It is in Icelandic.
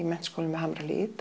Menntaskólann við Hamrahlíð